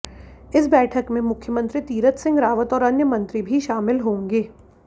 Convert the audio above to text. इस बैठक में मुख्यमंत्री तीरथ सिंह रावत और अन्य मंत्री भी शामिल होंगे